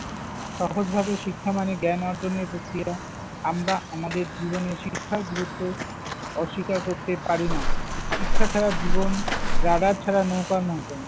সহজভাবে শিক্ষা মানে জ্ঞান অর্জনের প্রক্রিয়া। আমরা আমাদের জীবনে শিক্ষার গুরুত্ব অস্বীকার করতে পারি না। শিক্ষা ছাড়া জীবন radar ছাড়া নৌকার মতো।